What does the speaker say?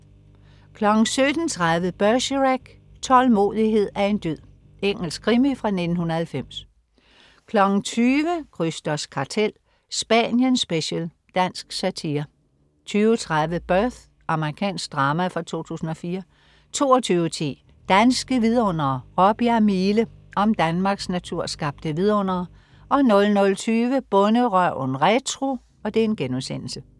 17.30 Bergerac: Tålmodighed er en dyd. Engelsk krimi fra 1990 20.00 Krysters Kartel. Spanien special. Dansk satire 20.30 Birth. Amerikansk drama fra 2004 22.10 Danske Vidundere: Råbjerg Mile. Om Danmarks naturskabte vidundere 00.20 Bonderøven retro*